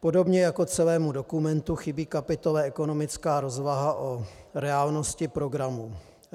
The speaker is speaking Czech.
Podobně jako celému dokumentu chybí kapitola ekonomická rozvaha o reálnosti programu.